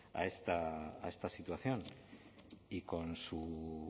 a esta situación y con su